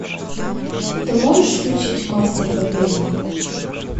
ты можешь включить мастер побега